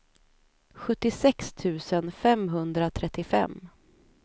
sjuttiosex tusen femhundratrettiofem